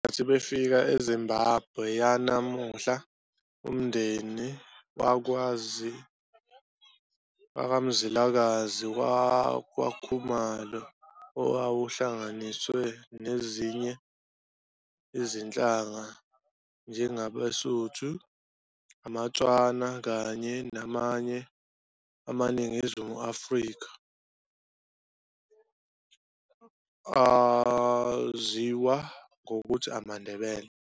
Ngesikhathi befika eZimbabwe yanamuhla, umndeni wakwaMzilikazi wakwaKhumalo, owawuhlanganiswe nezinye izinhlanga, njengamaSuthu, amaTswana kanye namanye amaNgunisi aseNingizimu Afrika, ayaziwa ngokuthi amaNdebele.